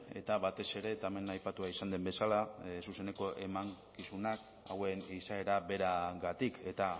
eta batez ere eta hemen aipatua izan den bezala zuzeneko emankizunak hauen izaera beragatik eta